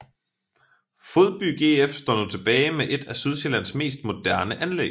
Fodby GF står nu tilbage med et af Sydsjællands mest moderne anlæg